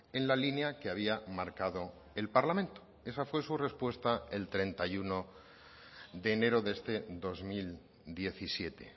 en la línea que había marcado el parlamento esa fue su respuesta el treinta y uno de enero de este dos mil diecisiete